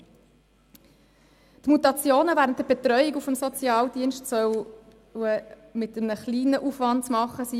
Die Mutationen während der Betreuung durch den Sozialdienst sollen mit einem kleinen Aufwand zu machen sein.